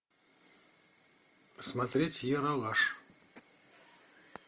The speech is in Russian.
смотреть ералаш